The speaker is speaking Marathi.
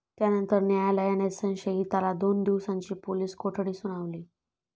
त्यानंतर न्यायालयाने संशयिताला दोन दिवसांची पोलीस कोठडी सुनावली.